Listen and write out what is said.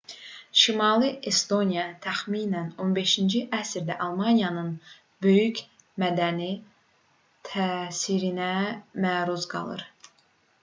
şimali estoniya təxminən 15-ci əsrdə almaniyanın böyük mədəni təsirinə məruz qalır